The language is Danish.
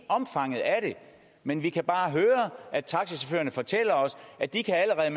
omfanget af det men vi kan bare høre at taxichaufførerne fortæller os at de allerede